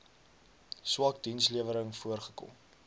swak dienslewering voorgekom